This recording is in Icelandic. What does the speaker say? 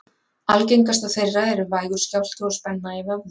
algengastar þeirra eru vægur skjálfti og spenna í vöðvum